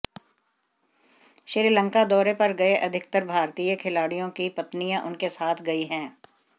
श्रीलंका दौरे पर गए अधिकतर भारतीय खिलाड़ियों की पत्नियां उनके साथ गई हैं